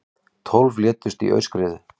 Tólf létust í aurskriðu